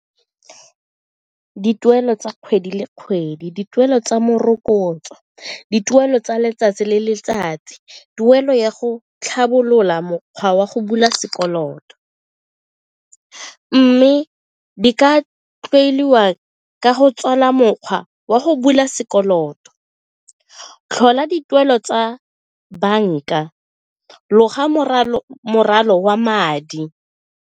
Dituelo tsa kgwedi le kgwedi, dituelo tsa morokotso, dituelo tsa letsatsi le letsatsi, tuelo ya go tlhabolola mokgwa wa go bula sekoloto mme di ka tloeliwa ke go tswala mokgwa wa go bula sekoloto, tlhola dituelo tsa banka, loga wa madi.